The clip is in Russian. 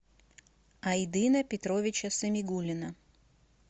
айдына петровича самигуллина